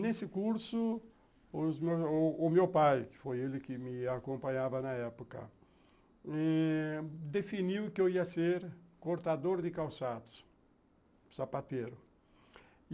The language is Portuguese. Nesse curso, o o meu pai, que foi ele que me acompanhava na época, definiu que eu ia ser cortador de calçados, sapateiro.